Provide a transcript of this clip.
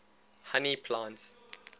honey plants